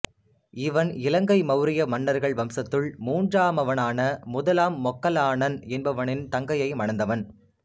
இவன் இலங்கை மௌரிய மன்னர்கள் வம்சத்துள் மூன்றாமானவனான முதலாம் மொக்கல்லானன் என்பவனின் தங்கையை மணந்தவன்